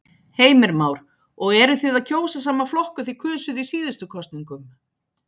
Heimir Már: Og eruð þið að kjósa sama flokk og þið kusuð í síðustu kosningum?